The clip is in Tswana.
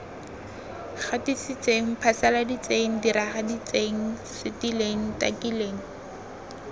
gatisitseng phasaladitseng diragaditseng setileng takileng